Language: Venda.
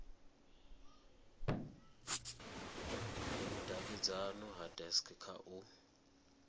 vhudavhidzano ha dacst kha u